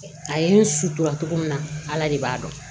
A ye n sutura cogo min na ala de b'a dɔn